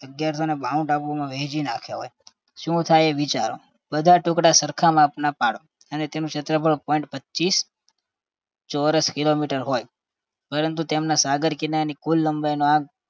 અગિયારસો ને બાણું ટાપુઓમાં વહેંચી નાખ્યો હોય શું થાય એ વિચારો બધા ટુકડા સરખા માપના પાડો અને તેનું ક્ષેત્રફળ point પચ્ચીસ ચોરસ kilometer હોય પરંતુ તેમના સાગર કિનારાની કુલ લંબાઈનો આંક